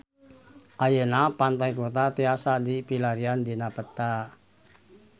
Ayeuna Pantai Kuta tiasa dipilarian dina peta